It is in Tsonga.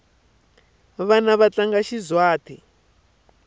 vana va tlanga xizwhate